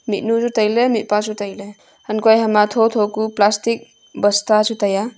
mihnu chu tailey mihpa chu tailey hanko la hama thotho ku plastic basta chu taiya.